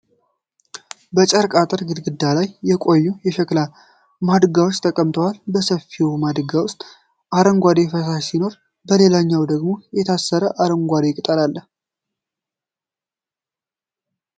በጨርቅ አጥር ግድግዳ ላይ የቆዩ የሸክላ ማድጋዎች ተቀምጠዋል። በሰፊው ማድጋ ውስጥ አረንጓዴ ፈሳሽ ሲኖር፣ በሌላኛው ደግሞ የታሰረ አረንጓዴ ቅጠል አለ።